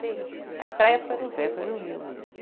Sim, a estreia foi no Rio mesmo.